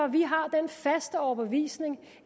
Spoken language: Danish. vi har den faste overbevisning